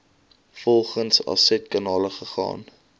volgende afsetkanale gegaan